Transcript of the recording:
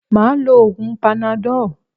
Máà lo oògun panadọ́ọ̀